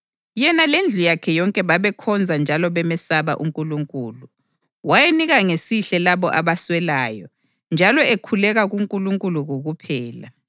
Yena lendlu yakhe yonke babekhonza njalo bemesaba uNkulunkulu. Wayenika ngesihle labo abaswelayo njalo ekhuleka kuNkulunkulu kokuphela.